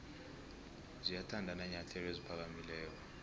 ziyathanda iinyathelo eziphakamileko